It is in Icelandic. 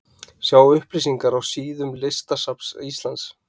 Sjá upplýsingar á síðum listasafns Íslands.